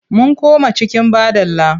Mun koma cikin badala.